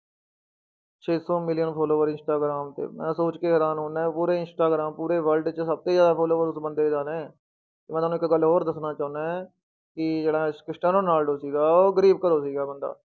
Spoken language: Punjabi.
ਛੇ ਸੌ ਮਿਲੀਅਨ follower ਇੰਸਟਾਗ੍ਰਾਮ ਤੇ, ਮੈਂ ਸੋਚ ਕੇ ਹੈਰਾਨ ਹੁਨਾ ਪੂਰੇ ਇੰਸਟਾਗ੍ਰਾਮ ਪੂਰੇ world 'ਚ ਸਭ ਤੋਂ ਜ਼ਿਆਦਾ followers ਉਸ ਬੰਦੇ ਦੇ ਨੇ, ਮੈਂ ਤੁਹਾਨੂੰ ਇੱਕ ਗੱਲ ਹੋਰ ਦੱਸਣਾ ਚਾਹੁਨਾ ਹੈ ਕਿ ਜਿਹੜਾ ਸ~ ਸਟੈਨੋ ਰੋਨਾਲਡੋ ਸੀਗਾ ਉਹ ਗ਼ਰੀਬ ਘਰੋਂ ਸੀਗਾ ਬੰਦਾ।